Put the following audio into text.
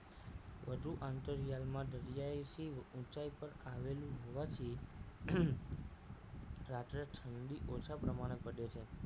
વધુ આંતરિયાલમાં દરિયાઈ સિંહ ઊંચાઈ પર આવેલું હોવાથી રાત્રે ઠંડી ઓછા પ્રમાણે પડે છે